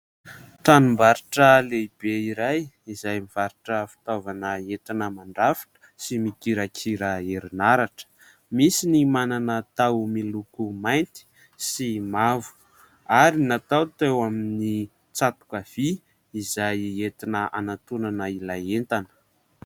Tranom-barotra lehibe iray izay mivarotra fitaovana entina mandrafitra sy mikirakira herinaratra. Misy ny manana taho miloko mainty sy mavo ary natao teo amin'ny tsatoka vy izay entina hanantonana ilay entana.